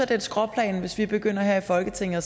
det et skråplan hvis vi begynder her i folketinget